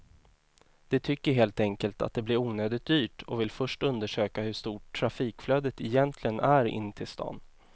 De tycker helt enkelt att det blir onödigt dyrt och vill först undersöka hur stort trafikflödet egentligen är in till stan.